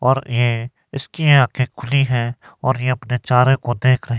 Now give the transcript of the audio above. और ये इसकी आंखे खुली है और ये अपने चारे को देख रही।